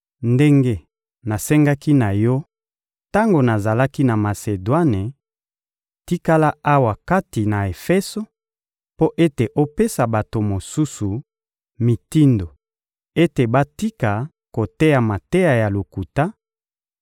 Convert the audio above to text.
Ndenge nasengaki na yo tango nazalaki na Masedwane, tikala awa kati na Efeso mpo ete opesa bato mosusu mitindo ete batika koteya mateya ya lokuta